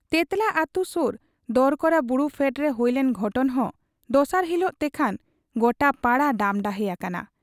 ᱛᱮᱸᱛᱞᱟ ᱟᱹᱛᱩ ᱥᱩᱨ ᱫᱚᱨᱠᱟᱲᱟ ᱵᱩᱨᱩ ᱯᱷᱮᱰᱨᱮ ᱦᱩᱭᱞᱮᱱ ᱜᱷᱚᱴᱚᱱ ᱦᱚᱸ ᱫᱚᱥᱟᱨ ᱦᱤᱞᱚᱜ ᱛᱮᱠᱷᱟᱱ ᱜᱚᱴᱟ ᱯᱟᱲᱟ ᱰᱟᱢᱰᱟᱦᱮ ᱟᱠᱟᱱᱟ ᱾